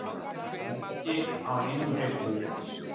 Lenti á einum hreyfli